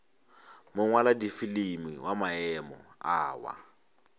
mongwaladifilimi wa maemo a wa